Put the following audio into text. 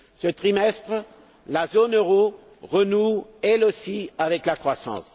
Ce trimestre, la zone euro renoue elle aussi avec la croissance.